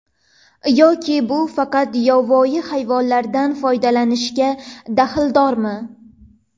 Yoki bu faqat yovvoyi hayvonlardan foydalanishga daxldormi?